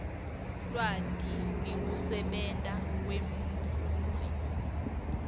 lwati ngekusebenta kwemfundzi